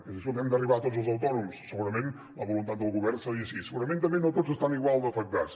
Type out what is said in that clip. escolti que hem d’arribar a tots els autònoms segurament la voluntat del govern seria així segurament també no tots estan igual d’afectats